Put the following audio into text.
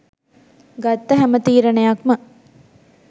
ගත්ත හැම තීරණයක්ම